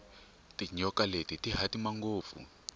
tinyoka leri rihhatima ngopfu